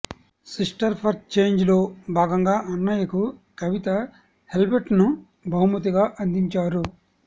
sister for ఛేంజ్లో భాగంగా అన్నయ్యకు కవిత హెల్మెట్ను బహుమతిగా అందించారు